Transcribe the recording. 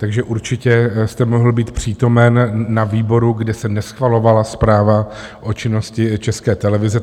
Takže určitě jste mohl být přítomen na výboru, kde se neschvalovala zpráva o činnosti České televize.